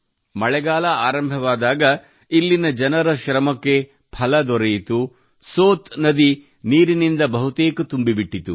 ಮಳೆಗಾಲ ಆರಂಭವಾದಾಗ ಇಲ್ಲಿನ ಜನರ ಶ್ರಮಕ್ಕೆ ಫಲ ದೊರೆಯಿತು ಮತ್ತು ಸೋತ್ ನದಿ ನೀರಿನಿಂದ ಬಹುತೇಕ ತುಂಬಿಬಿಟ್ಟಿತು